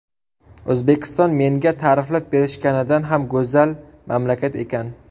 O‘zbekiston menga ta’riflab berishganidan ham go‘zal mamlakat ekan.